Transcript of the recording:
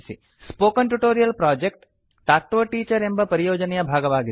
spoken tutorial project talk to a teacher ಎಂಬ ಪರಿಯೋಜನೆಯ ಭಾಗವಾಗಿದೆ